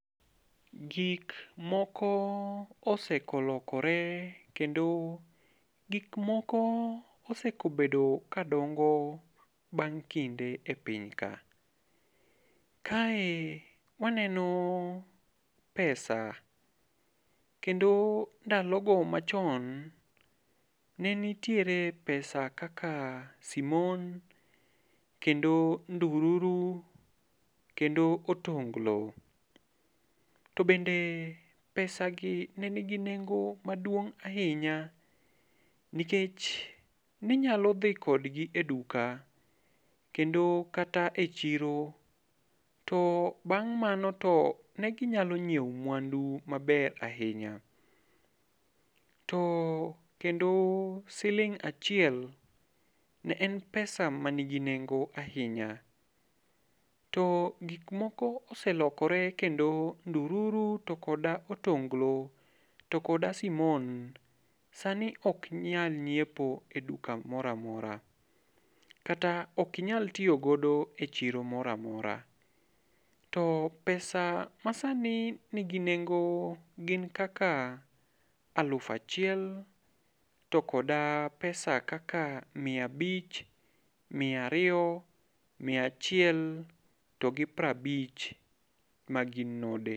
Gik moko osekolokore kendo gik moko oseko bedo kadongo e piny ka. Kae waneno pesa, kendo ndalogo machon ne nitiere pesa kaka simon, kendo ndururu, kendo otonglo. To bende pesagi ne nigi nengo maduong' ahinya nikech ne inyalo dhi kodgi e duka kendo kata e chiro to bang' mano to ne ginyalo nyiewo mwandu maber ahinya . To kendo siling' achiel ne en pesa ne nigi nengo ahinya to gik moko oselokore to kendo ndururu to koda otonglo to koda simon sani ok nyal nyiepo e duka moro amora kata ok inyal tiyo godo e chiro moror amora. To pesa ma sani nigi nengo gin kaka elufu achiel, to kod pesa kaka miya abich, miya ariyo, miya achiel to gi piero abich mag node.